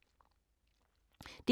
DR K